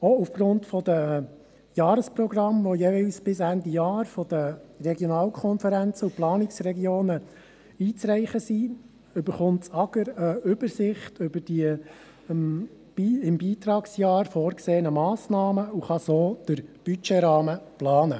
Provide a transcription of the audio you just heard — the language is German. Auch aufgrund der Jahresprogramme, die jeweils bis Ende Jahr von den Regionalkonferenzen und Planungsregionen einzureichen sind, erhält das AGR eine Übersicht über die im Beitragsjahr vorgesehenen Massnahmen und kann so den Budgetrahmen planen.